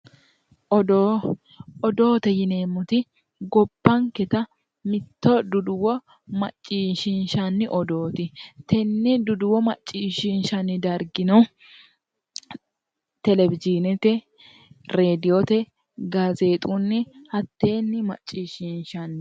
Odoo odoote yineemmoti gobbanketa mitto duduwo macishinshanni odooti tenne duduwo macishinshanni dargino telewiyiinete radoonete gazeexunni hatteenni macishinshanni